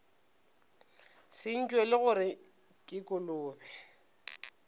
se ntšwele gore ke kolobe